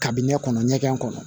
Kabini ne kɔnɔ ɲɛgɛn kɔnɔ